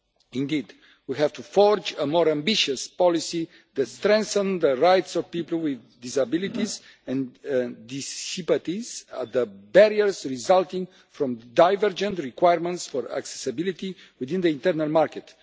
Indeed, we have to forge a more ambitious policy that strengthens the rights of people with disabilities and dissipates the barriers resulting from divergent requirements for accessibility within the internal market.